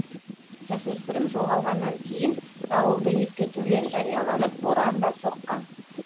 жасөспірім жоғалғаннан кейін дауылды ескертулер жарияланып боран да соққан